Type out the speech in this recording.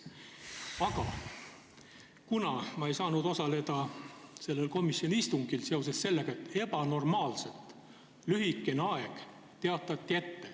Aga ma ei saanud osaleda sellel komisjoni istungil, sest etteteatamisaeg oli ebanormaalselt lühikene.